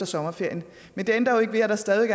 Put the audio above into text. sådan